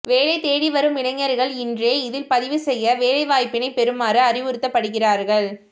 வேலை தேடி வரும் இளைஞர்கள் இன்றே இதில் பதிவு செய்து வேலைவாய்ப்பினை பெறுமாறு அறிவுறுத்தப்படுகிறார்கள்